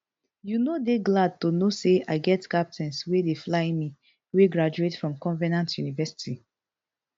you no dey glad to know say i get captains wey dey fly me wey graduate from covenant university